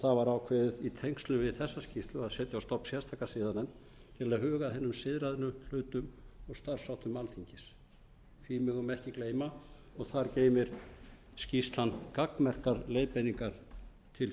ákveðið í tengslum við þessa skýrslu að setja á stofn sérstaka siðanefnd til að huga að hinum siðrænu hlutum og starfsháttum alþingis því megum við ekki gleyma og þar geymir skýrslan gagnmerkar leiðbeiningar til þingmanna um umræðuhefð okkar eða